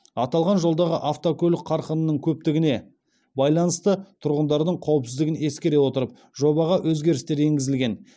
аталған жолдағы автокөлік қарқынының көптігіне байланысты тұрғындардың қауіпсіздігін ескере отырып жобаға өзгерістер енгізілген